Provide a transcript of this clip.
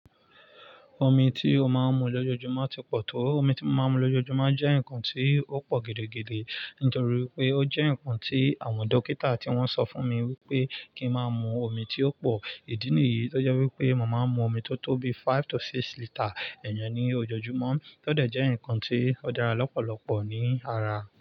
Omi tí o máa ń mu lójoojúmọ́ ti pọ̀ tó? Omi tí mo máa ń mu lójoojúmọ́ jẹ́ nǹkan tí ó pọ̀ gèdègèdè nítorí pé ó jẹ́ ǹkan tí àwọn dókítà ti wọ́n sofún mi wi pé kí n máa mu omi tí ó pò. Ìdí nìyí tọ́ jé wípé mo máa ń mu omi tó tó bi five to six litre iyen ni ojoojúmọ́ tọ́ dẹ̀ jẹ́ nǹkan tí ó dára lọ́pọ̀lọ́pọ̀ ní ara.